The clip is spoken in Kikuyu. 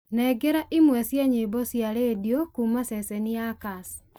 nengera imwe cia nyĩmbo cia rĩndiũ kuuma ceceni ya kass